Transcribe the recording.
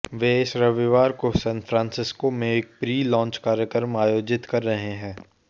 वे इस रविवार को सैन फ्रांसिस्को में एक प्री लॉन्च कार्यक्रम आयोजित कर रहे हैं